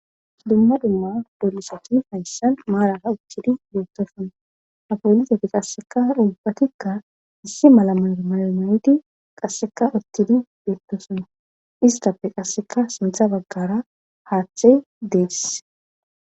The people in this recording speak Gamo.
Dumma dumma bolusati faysan maaraa uttidi beettosuna afoolizeti qasseka dhubbatikka issi mala marmalmayedi qasseka uttidi beettosuna istappe qasseka suntha baggara haaththey deess.